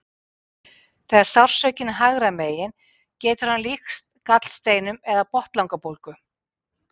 þegar sársaukinn er hægra megin getur hann líkst gallsteinum eða botnlangabólgu